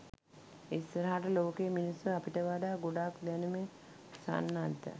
ඉස්සරහට ලෝකේ මිනිස්සු අපිට වඩා ගොඩක් දැනුමින් සන්නද්ධ